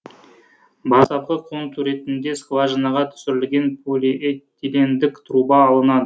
бастапқы контур ретінде скважинаға түсірілген полиэтилендік труба алынады